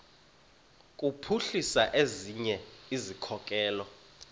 kuphuhlisa ezinye izikhokelo